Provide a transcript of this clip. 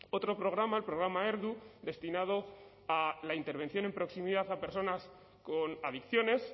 otro programa el programa erdu destinado a la intervención en proximidad a personas con adicciones